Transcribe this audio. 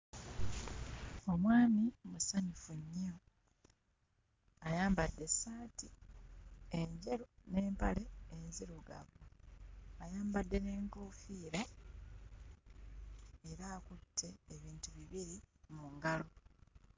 Omwami musanyufu nnyo ayambadde essaati enjeru n'empale enzirugavu ayambadde n'enkofiira era akutte ebintu bibiri mu ngalo.